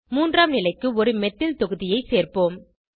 மூன்றாம் நிலைக்கு ஒரு மெத்தில் தொகுதியை ஐ சேர்ப்போம்